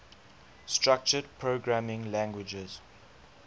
structured programming languages